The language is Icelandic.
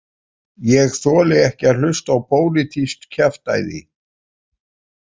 Ég þoli ekki að hlusta á pólitískt kjaftæði